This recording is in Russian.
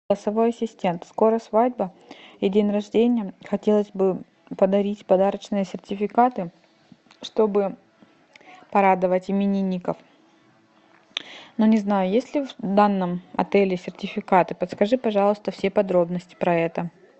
голосовой ассистент скоро свадьба и день рождения хотелось бы подарить подарочные сертификаты чтобы порадовать именинников но не знаю есть ли в данном отеле сертификаты подскажи пожалуйста все подробности про это